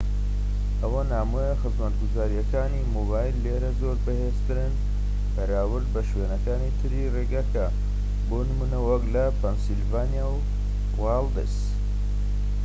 ئەوەی نامۆیە خزمەتگوزاریەکانی مۆبایل لێرە زۆر بەهێزترن بەراورد بە شوێنەکانی تری ڕێگەکە بۆ نمونە وەك لە پەنسیلڤانیا وایڵدس